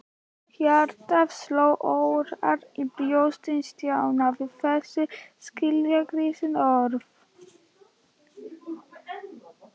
Hjartað sló örar í brjósti Stjána við þessi skilningsríku orð.